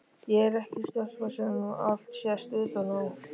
Ég er ekki stelpa sem allt sést utan á.